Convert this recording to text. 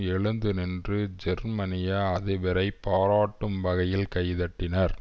எழுந்து நின்று ஜெர்மனிய அதிபரை பாராட்டும் வகையில் கை தட்டினர்